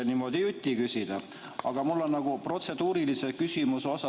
Protseduuriline küsimus on mul.